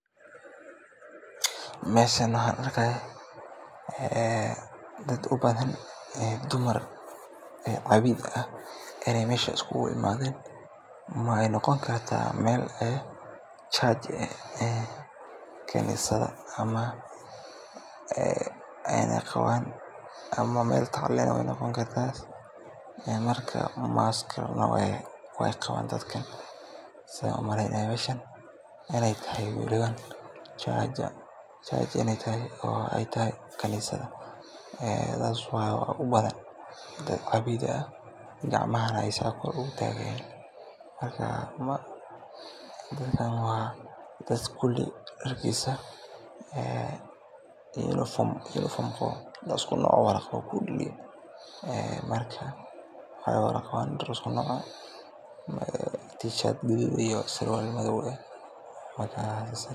Meeshan waxaan arkaaya dad ubadan dumar cabiid ah inaay meesha is kuugu imaaden, waxaay noqon kartaa meel khanisad ah ama aayna qabaan mask, saan umaleynaya meeshan inaay tahay khanisad, waxaa ubadan dad cabiid ah gacmahana aay kor utaagi haayan, dadkan waa dad kuli darkiisa dar isku nooc wada qabaan, fanaanad gaduud iyo surwaal madoow ah.